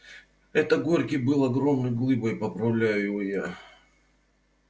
это горький был огромной глыбой поправляю его я